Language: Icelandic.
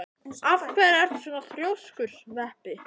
Af hverju ertu svona þrjóskur, Sveppi?